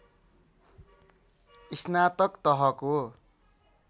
स्नातक तहको